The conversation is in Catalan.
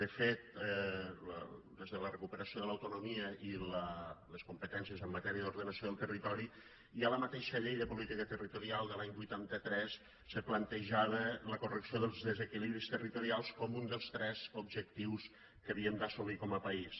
de fet des de la recuperació de l’autonomia i les competències en matèria d’ordenació del territori ja la mateixa llei de política territorial de l’any vuitanta tres se plantejava la correcció dels desequilibris territorials com un dels tres objectius que havíem d’assolir com a país